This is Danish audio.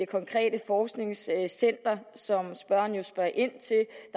konkrete forskningscenter som spørgeren jo spørger ind til